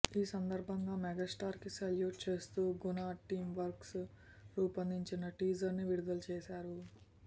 ఈ సందర్భంగా మెగాస్టార్ కి సెల్యూట్ చేస్తూ గుణ టీం వర్క్స్ రూపొందించిన టీజర్ ని విడుదలచేసారు